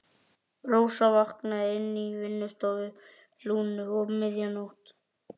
Rósa vaknaði inni á vinnustofu Lúnu um miðja nótt.